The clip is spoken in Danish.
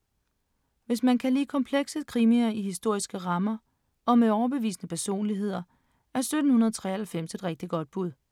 Hvis man kan lide komplekse krimier i historiske rammer og med overbevisende personligheder, er 1793 et rigtig godt bud.